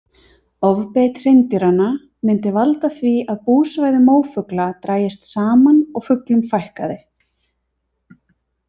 Ofbeit hreindýranna myndi valda því að búsvæði mófugla drægist saman og fuglum fækkaði.